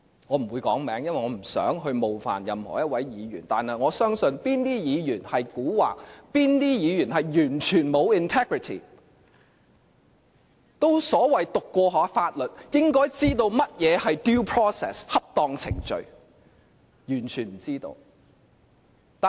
我不會指名道姓，因為我不想冒犯任何一位議員，但我相信哪些議員蠱惑，哪些議員完全沒有 integrity， 他們都所謂唸過法律，本應知道甚麼是 due process， 即恰當程序，但他們完全不知道。